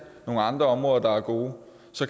nogle andre områder der er gode